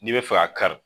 N'i bɛ fɛ ka kari